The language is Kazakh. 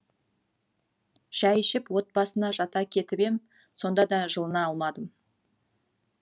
шай ішіп от басына жата кетіп ем сонда да жылына алмадым